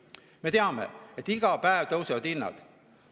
Me teame, et iga päev hinnad tõusevad.